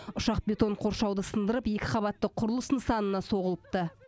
ұшақ бетон қоршауды сындырып екі қабатты құрылыс нысанына соғылыпты